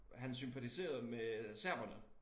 Han sympatiserede med serberne